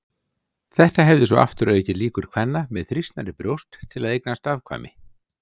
Þetta hefði svo aftur aukið líkur kvenna með þrýstnari brjóst til að eignast afkvæmi.